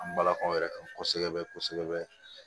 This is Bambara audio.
An balakaw yɛrɛ kan kosɛbɛ kosɛbɛ